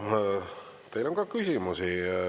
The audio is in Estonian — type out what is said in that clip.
Ja teile on ka küsimusi.